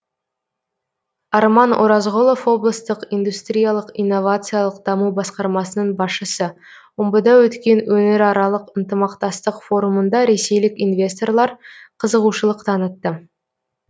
арман оразғұлов облыстық индустриялық инновациялық даму басқармасының басшысы омбыда өткен өңіраралық ынтымақтастық форумында ресейлік инвесторлар қызығушылық танытты